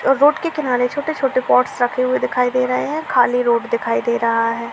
Road के किनारे छोटे छोटे पॉट्स रखे हुए दिखाई दे रहे हैंखाली रोड दिखाई दे रहे है।